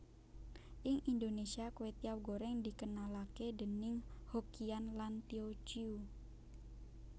Ing Indonesia kwetiau goreng dikenalake déning Hokkian lan Tio Ciu